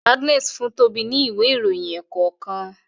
Agnes fun Toba ní Ìwé ìròyìn ẹ̀ẹ̀kọ̀kan